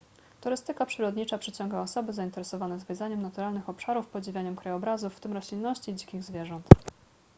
turystyka przyrodnicza przyciąga osoby zainteresowane zwiedzaniem naturalnych obszarów podziwianiem krajobrazów w tym roślinności i dzikich zwierząt